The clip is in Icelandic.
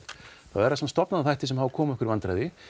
þá eru það samt stofnanaþættir sem hafa komið okkur í vandræði